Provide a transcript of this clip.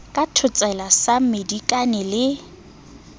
ka thotsela sa mmedikane ke